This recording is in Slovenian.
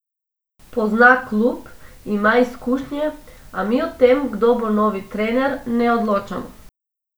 Pozna klub, ima izkušnje, a mi o tem, kdo bo novi trener, ne odločamo.